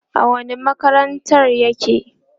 a wani makarantar yake?